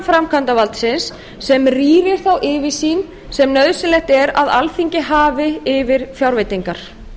framkvæmdarvaldsins sem rýrir þá yfirsýn sem nauðsynlegt er að alþingi hafi yfir fjárveitingar